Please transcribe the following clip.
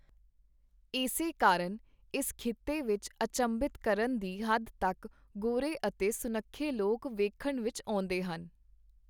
ਏਸੇ ਕਾਰਨ ਇਸ ਖਿੱਤੇ ਵਿਚ ਅਚੰਭਿਤ ਕਰਨ ਦੀ ਹੱਦ ਤਕ ਗੋਰੇ ਅਤੇ ਸੁਨੱਖੇ ਲੋਕ ਵੇਖਣ ਵਿਚ ਆਉਂਦੇਹਨ.